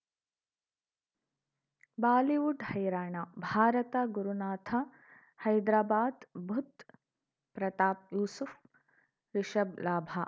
Bollywood ಹೈರಾಣ ಭಾರತ ಗುರುನಾಥ ಹೈದರಾಬಾದ್ ಬುಧ್ ಪ್ರತಾಪ್ ಯೂಸುಫ್ ರಿಷಬ್ ಲಾಭ